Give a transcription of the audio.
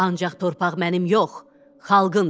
Ancaq torpaq mənim yox, xalqındır.